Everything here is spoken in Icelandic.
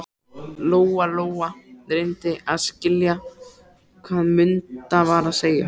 Lóa-Lóa reyndi að skilja hvað Munda var að segja.